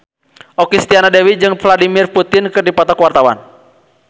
Okky Setiana Dewi jeung Vladimir Putin keur dipoto ku wartawan